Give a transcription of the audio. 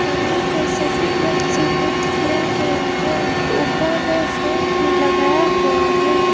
कमरे को सफेद रंग से पेंट किया गया है ऊपर में फैन भी लगाया हुआ है।